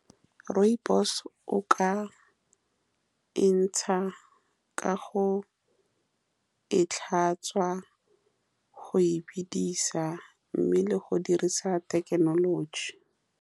Rooibos-o o ka e ntsha ka go e tlhatswa go e bidisa, mme le go dirisa thekenoloji.